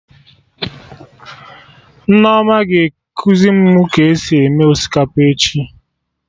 Nneoma ga-ekuzi mụ ka esi eme osikapa echi